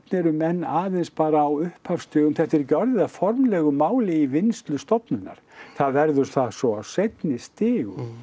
eru menn aðeins bara á upphafsstigum þetta er ekki orðið að formlegu máli í vinnslu stofnunarinnar það verður það svo á seinni stigum